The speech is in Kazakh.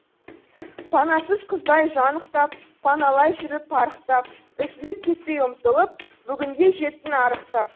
панасыз қыздай жан ықтап паналай жүріп парықтап үзіліп кетпей ұмтылып бүгінге жеттің арықтап